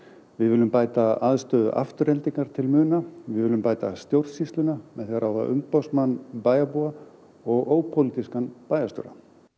við viljum bæta aðstöðu Aftureldingar til muna við viljum bæta stjórnsýsluna með því að ráða umboðsmann bæjarbúa og ópólitískan bæjarstjóra